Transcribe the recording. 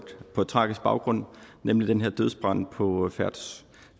tragisk baggrund nemlig den her dødsbrand på